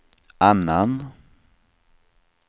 annan